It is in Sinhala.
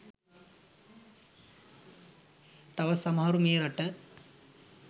තවත් සමහරු මේ රට